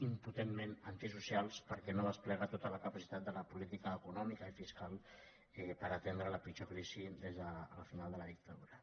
impotentment antisocials perquè no es desplega tota la capacitat de la política econòmica i fiscal per atendre la pitjor crisi des del final de la dictadura